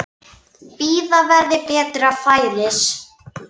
Bíða verði betra færis.